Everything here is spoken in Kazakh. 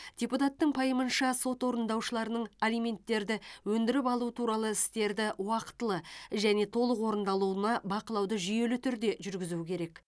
депутаттың пайымынша сот орындаушыларының алименттерді өндіріп алу туралы істерді уақытылы және толық орындалуына бақылауды жүйелі түрде жүргізу керек